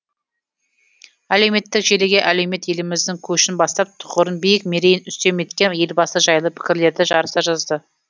әлеуметтік желіге әлеумет еліміздің көшін бастап тұғырын биік мерейін үстем еткен елбасы жайлы пікірлерді жарыса жазды